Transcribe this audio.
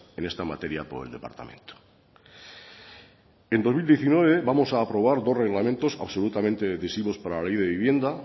en esta materia por el departamento en el dos mil diecinueve vamos a aprobar dos reglamentos absolutamente decisivos para la ley de vivienda